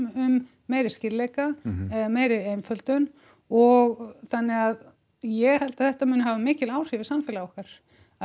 um meiri skýrleika um meiri einföldun og þannig að ég held að þetta muni hafa mikil áhrif í samfélagið okkar